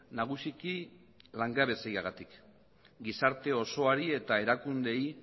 nagusiki langabeziagatik gizarte osoari eta erakundeei